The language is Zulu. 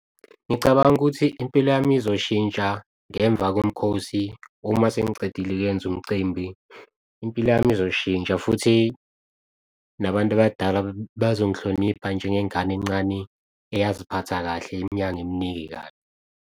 Ngicabanga ukuthi impilo yami izoshintsha ngemva komkhosi. Uma sengicedile ukuyenza umcimbi, impilo yami izoshintsha futhi nabantu abadala bazongi hlonipha njengengane encane eyaziphatha kahle iminyaka eminingi kabi.